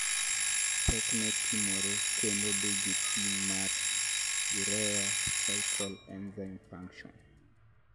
Pek ne pimore kendo dhi gi pim mar urea cycle enzyme function